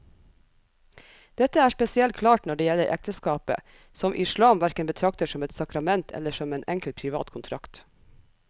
Dette er spesielt klart når det gjelder ekteskapet, som islam hverken betrakter som et sakrament eller som en enkel privat kontrakt.